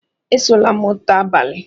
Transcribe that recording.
"Esola moto abalị!